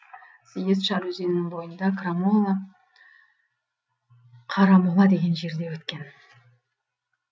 съезд шар өзенінің бойында қарамола деген жерде өткен